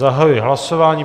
Zahajuji hlasování.